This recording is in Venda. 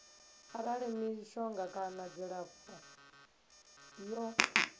arali mishonga kana dzilafho ḽo